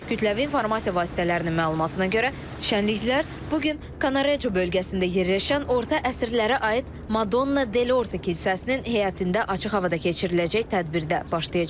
Kütləvi informasiya vasitələrinin məlumatına görə, şənliklər bu gün Kanareco bölgəsində yerləşən orta əsrlərə aid Madonna Delordi kilsəsinin həyətində açıq havada keçiriləcək tədbirdə başlayacaq.